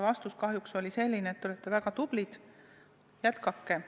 Vastus oli kahjuks selline, et te olete väga tublid, jätkake.